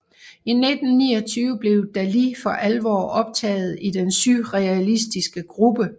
I 1929 blev Dalí for alvor optaget i den surrealistiske gruppe